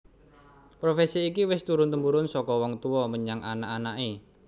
Profesi iki wis turun tumurun saka wong tuwa menyang anak anaké